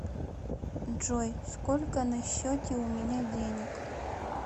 джой сколько на счете у меня денег